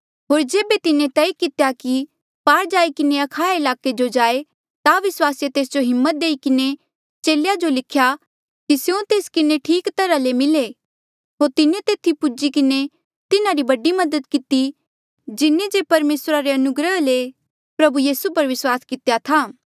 होर जेबे तिन्हें तय कितेया कि पार जाई किन्हें अखाया ईलाके जो जाए ता विस्वासिये तेस जो हिम्मत देई किन्हें चेलेया जो लिख्या कि स्यों तेस किन्हें ठीक तरहा ले मिले होर तिन्हें तेथी पुज्ही किन्हें तिन्हारी बड़ी मदद किती जिन्हें जे परमेसरा री अनुग्रह ले प्रभु यीसू पर विस्वास कितेया था